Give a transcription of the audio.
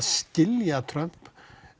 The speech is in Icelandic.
skilja Trump